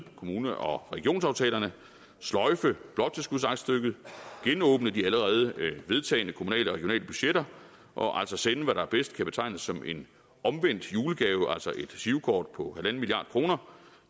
kommune og regionsaftalerne sløjfe bloktilskudsaktstykket genåbne de allerede vedtagne kommunale og regionale budgetter og altså sende hvad der bedst kan betegnes som en omvendt julegave altså et girokort på en milliard kroner